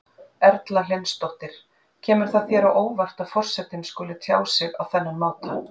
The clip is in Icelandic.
Erla Hlynsdóttir: Kemur það þér á óvart að forsetinn skuli tjá sig á þennan máta?